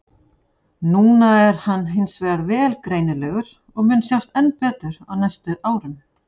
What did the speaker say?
Núna er hann hins vegar vel greinilegur og mun sjást enn betur á næstu árum.